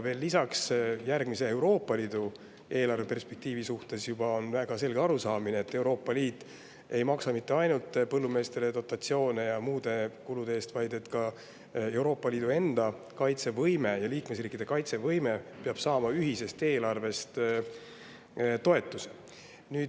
Veel lisaks, järgmise Euroopa Liidu eelarveperspektiivi suhtes on väga selge arusaamine, et Euroopa Liit ei maksa mitte ainult põllumeestele dotatsioone ega tasu muude kulude eest, vaid ka Euroopa Liidu enda ja liikmesriikide kaitsevõime peab saama ühisest eelarvest toetust.